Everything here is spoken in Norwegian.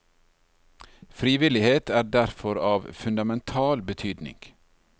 Frivillighet er derfor av fundamental betydning.